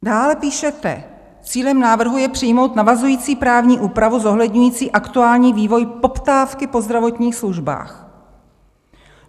Dále píšete: "Cílem návrhu je přijmout navazující právní úpravu zohledňující aktuální vývoj poptávky po zdravotních službách.